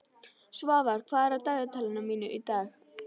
Svafar, hvað er á dagatalinu mínu í dag?